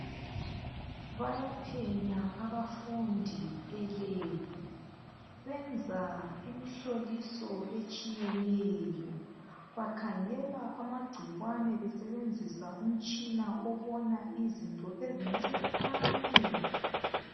Bayaphenya abafundi elebhu benza imihloliso etshiyeneyo bakhangela amagcikwane besebenzisa umtshina obona izinto zincinyane